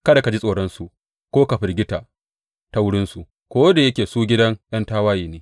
Kada ka ji tsoronsu ko ka firgita ta wurinsu, ko da yake su gidan ’yan tawaye ne.